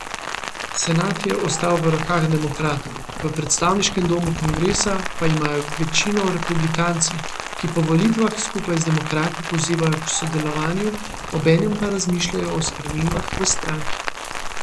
Senat je ostal v rokah demokratov, v predstavniškem domu kongresa pa imajo večino republikanci, ki po volitvah skupaj z demokrati pozivajo k sodelovanju, obenem pa razmišljajo o spremembah v stranki.